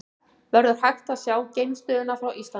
Verður hægt að sjá geimstöðina frá Íslandi?